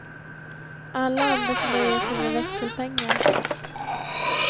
Alla andra får nöja sig med växelpengar.